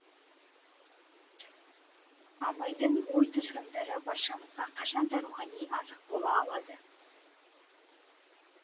абайдың ой тұжырымдары баршамызға қашанда рухани азық бола алады